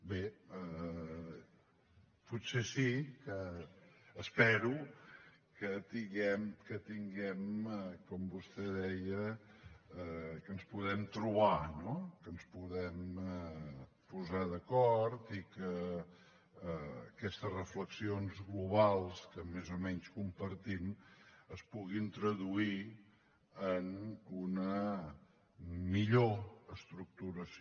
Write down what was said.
bé potser sí que espero que tinguem com vostè deia que ens podem trobar no que ens podem posar d’acord i que aquestes reflexions globals que més o menys compartim es puguin traduir en una millor estructuració